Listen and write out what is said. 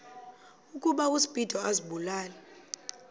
ukuba uspido azibulale